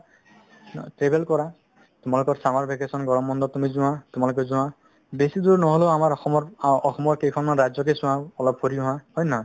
অ, travel কৰা তোমালোকৰ summer vacation গৰম বন্ধত তুমি যোৱা তোমালোকে যোৱা বেছি দূৰ নহ'লেও আমাৰ অসমৰ আ অসমৰ কেইখনমান ৰাজ্যতে চোৱা অলপ ফুৰি অহা হয়নে নহয়